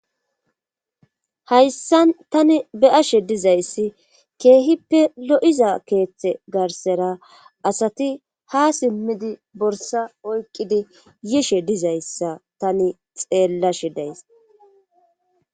hayssan tani be7ashe dizayssi keehippe lo7iza keeththe garsera asati ha simmidi borsa oykqidi yishe dizayssa tani xeellashe days